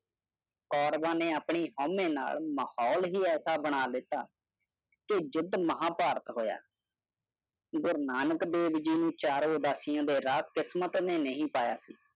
ਕੌਰਵਾਂ ਨੇ ਆਪਣੀ ਹਉਮੇਂ ਨਾਲ ਮਾਹੌਲ ਹੀ ਐਸਾ ਬਣਾ ਦਿੱਤਾ ਕਿ ਯੁੱਧ ਮਹਾਭਾਰਤ ਹੋਇਆ। ਗੁਰੂ ਨਾਨਕ ਦੇਵ ਜੀ ਨੂੰ ਚਾਰ ਉਦਾਸੀਆਂ ਦੇ ਰਾਹ ਕਿਸਮਤ ਨੇ ਨਹੀਂ ਪਾਇਆ।